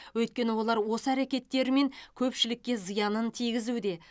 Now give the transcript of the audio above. өйткені олар осы әрекеттерімен көпшілікке зиянын тигізуде